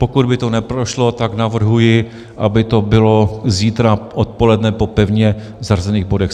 Pokud by to neprošlo, tak navrhuji, aby to bylo zítra odpoledne po pevně zařazených bodech.